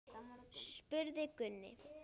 spurði Gunni.